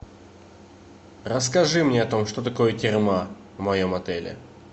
расскажи мне о том что такое терма в моем отеле